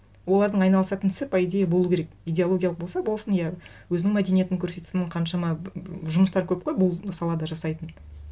олардың айналысатын ісі по идее болу керек идеологиялық болса болсын иә өзінің мәдениетін көрсетсін қаншама жұмыстар көп қой бұл салада жасайтын